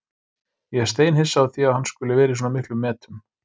Ég er steinhissa á því að hann skuli vera í svona miklum metum.